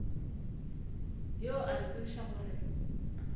yo a re tsebišago gore